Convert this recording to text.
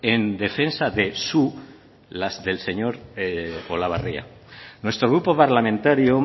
en defensa de su las del señor olabarria nuestro grupo parlamentario